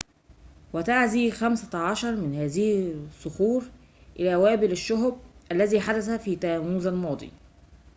وتُعزى خمسة عشر من هذه الصخور إلى وابل الشهب الذي حدث في تموز الماضي